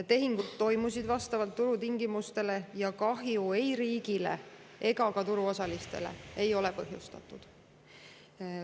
Tehingud toimusid vastavalt turutingimustele ning kahju riigile ega turuosalistele ei ole põhjustatud.